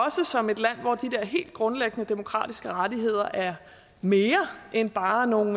som et land hvor de der helt grundlæggende demokratiske rettigheder er mere end bare nogle